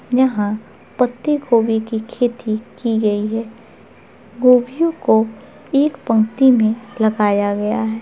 यहाँ पत्ते गोभी की खेती की गई है गोभियो को एक पंक्ति में लगाया गया है।